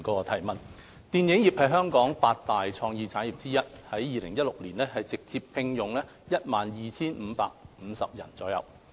電影業是香港的八大創意產業之一，在2016年直接聘用約 12,550 人。